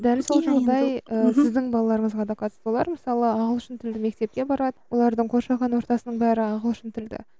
дәл сол жағдай ы сіздің балаларыңызға да қатысты олар мысалы ағылшын тілді мектепке барады олардың қоршаған ортасының бәрі ағылшын тілді